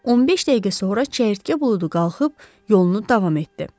15 dəqiqə sonra çəyirtkə buludu qalxıb yolunu davam etdi.